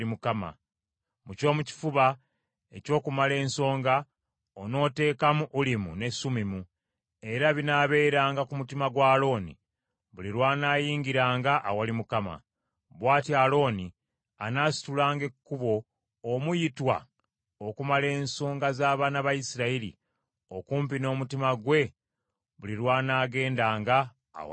Mu ky’omu kifuba eky’okumala ensonga, onooteekamu Ulimu ne Sumimu , era binaabeeranga ku mutima gwa Alooni buli lw’anaayingiranga awali Mukama . Bw’atyo Alooni anaasitulanga ekkubo omuyitwa okumala ensonga z’abaana ba Isirayiri okumpi n’omutima gwe buli lw’anaagendanga awali Mukama .